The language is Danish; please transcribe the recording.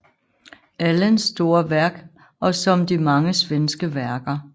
Allens store værk og som de mange svenske værker